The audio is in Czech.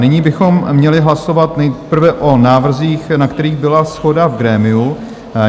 Nyní bychom měli hlasovat nejprve o návrzích, na kterých byla shoda v grémiu.